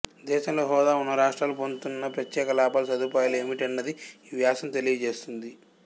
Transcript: దేశంలో హోదా ఉన్న రాష్ట్రాలు పొందుతున్న ప్రత్యేక లాభాలుసదుపాయాలు ఏమిటన్నది ఈ వ్యాసం తెలియజేస్తుంది